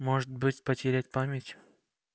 может быть потерять память